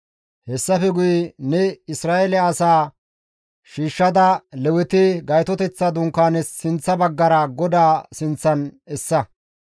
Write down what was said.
Hessafe guye ne Isra7eele asaa shiishshada Leweti Gaytoteththa Dunkaanaas sinththa baggara GODAA sinththan essa.